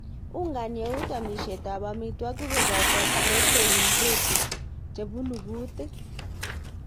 Ungani eut amisyet ap amitwoik kopoto ptotein vhepunu kutik.